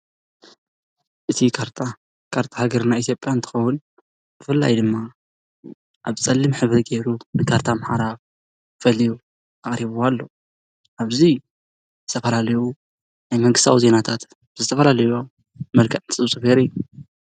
እዚ ካርታ ካርታ ሃገርና ኢትዮጵያ እንትኸውን ብፍላይ ድማ ኣብ ፀሊም ሕብሪ ገይሩ ንካርታ ኣምሓራ ፈልዩ ኣቕሪብዋ ኣሎ፡፡ ኣብዚ ዝተፈላለዩ ናይ መንግስታዊ ዜናታት ዝተፈላለዩ መልክዕ ዝጽብጽብ ነይሩ እዩ።